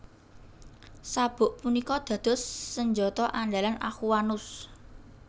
Sabuk punika dados senjata andalan Aquanus